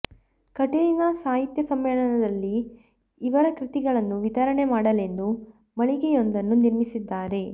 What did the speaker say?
ಕಟೀಲಿನ ಸಾಹಿತ್ಯ ಸಮ್ಮೇಳನದಲ್ಲಿ ಇವರ ಕೃತಿಗಳನ್ನು ವಿತರಣೆ ಮಾಡಲೆಂದು ಮಳಿಗೆಯೊಂದನ್ನು ನಿರ್ಮಿಸಿದ್ದಾರೆ